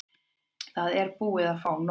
Það er búið að fá nóg.